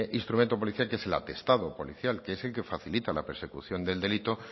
instrumento policial que es el atestado policial que es el que facilita la persecución del delito